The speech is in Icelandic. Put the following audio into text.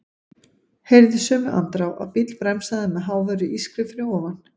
Heyrði í sömu andrá að bíll bremsaði með háværu ískri fyrir ofan.